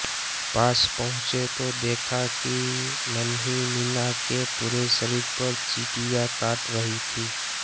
पास पहुंचे तो देखा कि नन्ही मीना के पूरे शरीर पर चीटियाँ काट रहीं थीं